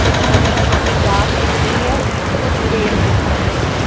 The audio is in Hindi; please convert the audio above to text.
और छोटी छोटी घास दिख रही है कुछ पेड़ दिख रहे हैं।